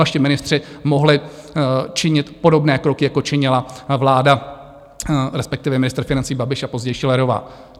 Vaši ministři mohli činit podobné kroky, jako činila vláda, respektive ministr financí Babiš a později Schillerová.